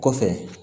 Kɔfɛ